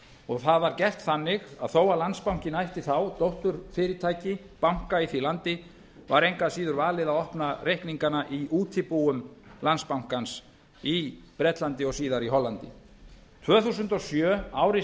og það var gert þannig að þó að landsbankinn ætti þá dótturfyrirtæki banka í því landi var engu að síður valið að opna reikningana í útibúum landsbankans í bretlandi og síðar í hollandi tvö þúsund og sjö ári